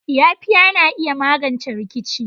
Yafiya na iya magance rikici.